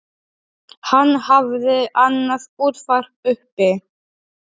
Hann hafði annað útvarp uppi.